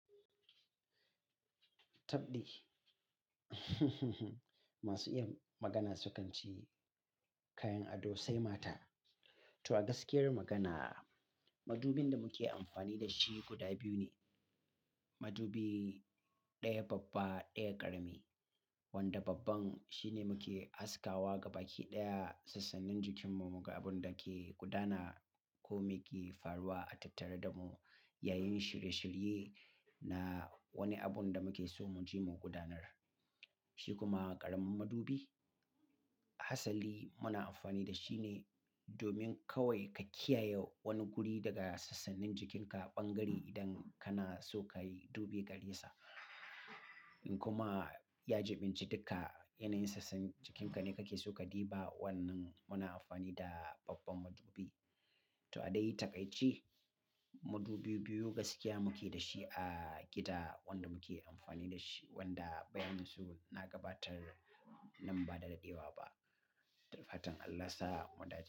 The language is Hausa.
Tabdi. Masu iya magana sukan ce kayan ado sai mata. To a gaskiyar magana, madubin da muke amfani da shi guda biyu ne. Madubi ɗaya babba, ɗaya ƙarami. Wanda babban shine muke haskawa gabaki ɗaya sassanin jikinmu, muka abun dake gudana ko me ke faruwa a tattare da mu yayin shirye-shirye na wani abun da muke so mu je mu gudanar. Shi kuma ƙaramin madubi, asali muna amfani da shi ne domin kawai ka kiyaye wani guri daga sassannin jikinka ɓangare idan kana so ka yi dube gare sa. Kuma ya jiɓinci duka yanayin sassan jikinka ne kake so ka diba. Wannan muna amfani da babban madubi. To a dai taƙaice, madubi biyu gaskiya muke da shi a gida wanda muke amfani da shi, wanda bayanin su na gabatar nan ba da daɗewa ba. Da fatan Allah sa mu dace.